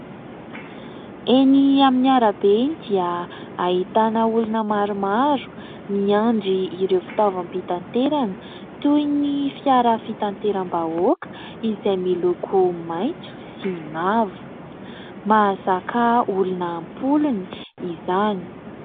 Eny amin'ny arabe eny dia ahitana olona maromaro miandry ireo fitaovam-pitanterana toin'ny fiara fitanteram-bahoaka izay miloko maintso sy mavo mazaka olona ampolony izany.